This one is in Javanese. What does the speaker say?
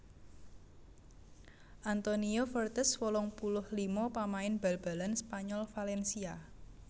Antonio Fuertes wolung puluh lima pamain bal balan Spanyol Valencia